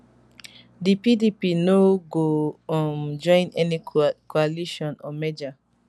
di pdp no go um join any coalition or merger